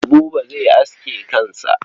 Buba zai aske kansa.